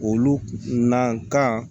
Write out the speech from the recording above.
Olu na kan